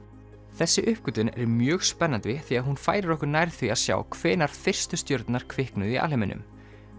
þessi uppgötvun er mjög spennandi því að hún færir okkur nær því að sjá hvenær fyrstu stjörnurnar kviknuðu í alheiminum